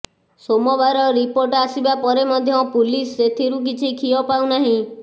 ସୋମବାର ରିପୋର୍ଟ ଆସିବା ପରେ ମଧ୍ୟ ପୁଲିସ ସେଥିରୁ କିଛି ଖିଅ ପାଉନାହିଁ